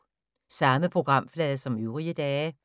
Samme programflade som øvrige dage